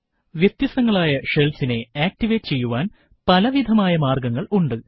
വ്യത്യസ്തങ്ങളായ shellsനെ ആക്ടിവേറ്റ് ചെയ്യുവാൻ പലവിധമായ മാർഗ്ഗങ്ങൾ ഉണ്ട്